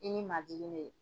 I ni majigi ne.